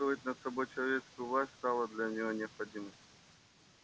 чувствовать над собой человеческую власть стало для него необходимостью